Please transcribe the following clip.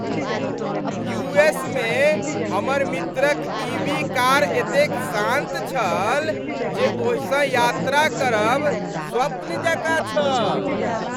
U S मे हमर मित्रक ई. वी. कार एतेक शान्त छल जे ओहिसँ यात्रा करब स्वप्न जकाँ छल।